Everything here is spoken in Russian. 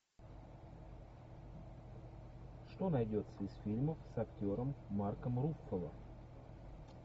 что найдется из фильмов с актером марком руффало